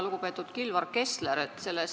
Lugupeetud Kilvar Kessler!